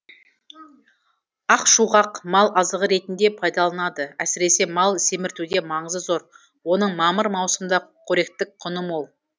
ақшуғақ мал азығы ретінде пайдаланылады әсіресе мал семіртуде маңызы зор оның мамыр маусымда қоректік құны мол